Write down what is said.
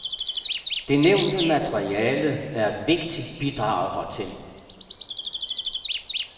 Det nævnte materiale er et vigtigt bidrag hertil.